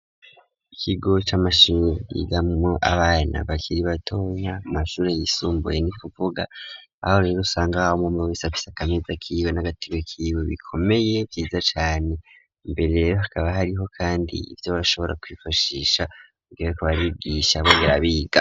Ikigo c'amashini igamo abana bakiri batonya mashuri y'isumbuye n'ikuvuga aho rero usanga hao umumwe wisapisa kameza k'iwe n'agatibo k'iwe bikomeye ryiza cane mbere hakaba hariho kandi ivyo arashobora kwifashisha bwire ku barigisha bonder biga.